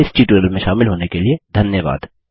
इस ट्यूटोरियल में शामिल होने के लिए धन्यवाद